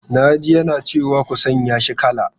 Na ji yana cewa 'ku sanya shi kala!'